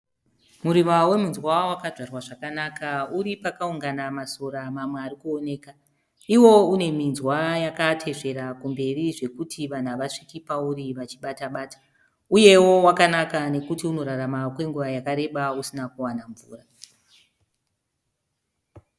Muriva wemunzwa wakadyarwa zvakanaka uri pakaungana masora mamwe arikuoneka. Iwo une minzwa yakatesvera kumberi zvokuti vanhu havasviki pauri vachibata bata uyewo wakanaka nekuti unorarama kwenguva yakareba usina kuwana mvura.